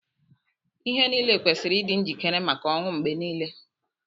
Ihe niile kwesiri ịdị njikere maka ọnwụ mgbe niile.